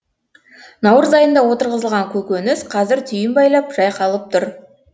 наурыз айында отырғызылған көкөніс қазір түйін байлап жайқалып тұр